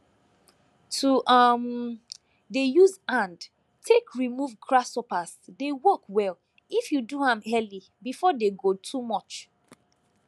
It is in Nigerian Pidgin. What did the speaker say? to um dey use hand take remove grasshoppers dey work well if you do am early before dey go too much